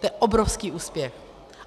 To je obrovský úspěch.